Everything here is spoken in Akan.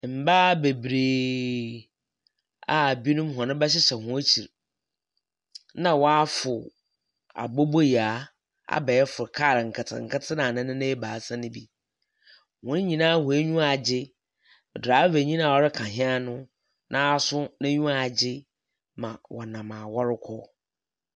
Mmbaa bebree a binom wɔn mba hyehyɛ wɔn ekyir, na wafor abobo Yaa, abɛɛfo kaar nketse nketse na nenan ebaasa ne bi . Wɔn nyinaa wɔn enyiwa agye, draefa nyi no nso n'enyiwa agye na wɔnam a wɔrekɔ.